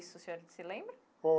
Isso, o senhor se lembra?